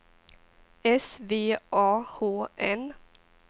S V A H N